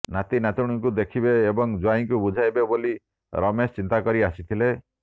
ନାତି ନାତୁଣୀଙ୍କୁ ଦେଖିବେ ଏବଂ ଜ୍ୱାଇଁଙ୍କୁ ବୁଝାଇବେ ବୋଲି ରମେଶ ଚିନ୍ତା କରି ଆସିଥିଲେ